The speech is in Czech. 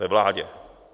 Ve vládě.